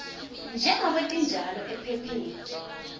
njengobe tinjalo ephepheni